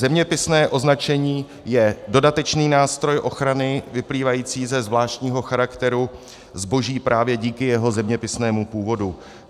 Zeměpisné označení je dodatečný nástroj ochrany vyplývající ze zvláštního charakteru zboží právě díky jeho zeměpisnému původu.